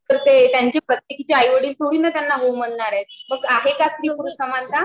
तर ते त्यांची प्रत्येकीचे आईवडील थोडी ना त्यांना हो म्हणणार आहेत मग आहे का स्त्री पुरुष समानता